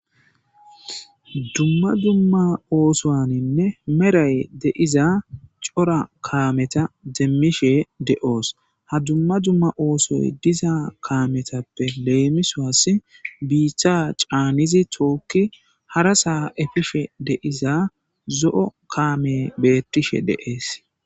dumma dumma oosoaninne meray deiza cora kaameta deemmishe de7oos ha dumma dumma oosoy diza kaametappe leemisoas biithcha caanizi tookki hara saa efife deiza zo7o kaame beettishe deees